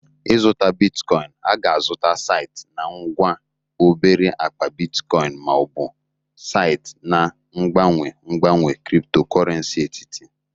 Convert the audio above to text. Ịzụta bitcoin a ga-azụta site na ngwa obere akpa bitcoin ma ọ bụ site na mgbanwe mgbanwe cryptocurrency etiti